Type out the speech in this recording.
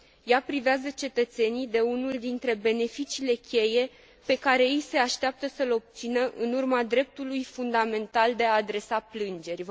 Ea privează cetățenii de unul dintre beneficiile cheie pe care ei se așteaptă să l obțină în urma dreptului fundamental de a adresa plângeri.